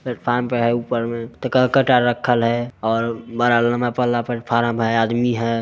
Platform बना है ऊपर में कट्टर राखल है और प्लेटफॉर्म पर आदमी है।